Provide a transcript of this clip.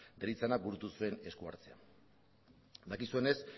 deritzanak burutu zuen esku hartzea dakizuenez